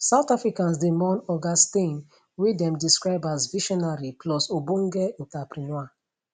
south africans dey mourn oga steyn wey dem describe as visionary plus ogbonge entrepreneur